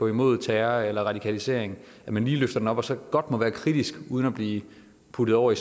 imod terror eller radikalisering at man lige løfter den op og så godt må være kritisk uden at blive puttet over i